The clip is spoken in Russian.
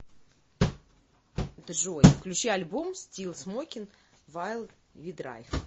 джой включи альбом стил смокин вайл ви драйв